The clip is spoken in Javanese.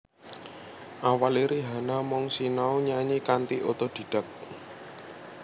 Awalé Rihanna mung sinau nyanyi kanthi otodidak